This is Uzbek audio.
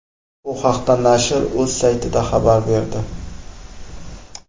Bu haqda nashr o‘z saytida xabar berdi.